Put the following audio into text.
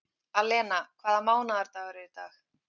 Alena, hvaða mánaðardagur er í dag?